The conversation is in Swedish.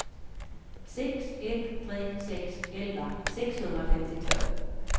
sex ett tre sex elva sexhundrafemtiotvå